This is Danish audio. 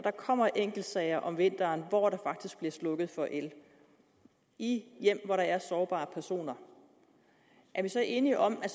der kommer enkeltsager om vinteren hvor der faktisk bliver slukket for el i hjem hvor der er sårbare personer er vi så enige om at